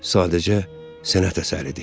Sadəcə sənət əsəridir.